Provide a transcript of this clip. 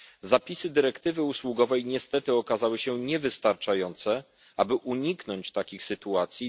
Zapisy dyrektywy usługowej niestety okazały się niewystarczające, aby uniknąć takich sytuacji.